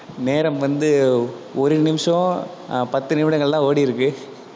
நேரம் வந்து ஒரு நிமிஷம் ஆஹ் பத்து நிமிடங்கள்தான் ஓடிருக்கு.